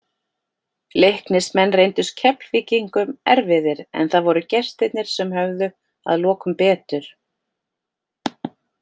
Leiknismenn reyndust Keflvíkingum erfiðir, en það voru gestirnir sem höfðu að lokum betur.